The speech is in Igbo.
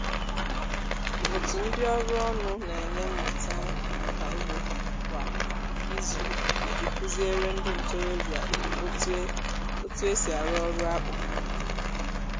otu ndị ọrụ ọnụ na-enye mmụta nka ugbo kwa izu iji kụziere ndị ntorobịa otu e otu e si arụ ọrụ akpụ